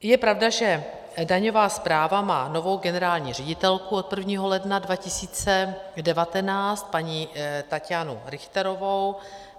Je pravda, že daňová správa má novou generální ředitelku od 1. ledna 2019, paní Tatjanu Richterovou.